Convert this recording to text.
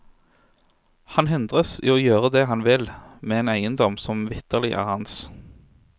Han hindres i å gjøre det han vil med en eiendom som vitterlig er hans.